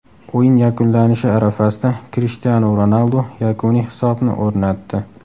O‘yin yakunlanishi arafasida Krishtianu Ronaldu yakuniy hisobni o‘rnatdi.